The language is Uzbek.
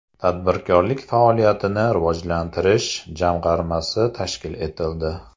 Tadbirkorlik faoliyatini rivojlantirish jamg‘armasi tashkil etildi.